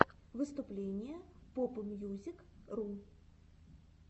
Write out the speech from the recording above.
выступление попмьюзикру